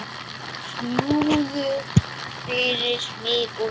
Snúður fyrir mig og þig.